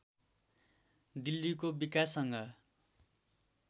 दिल्लीको विकाससँग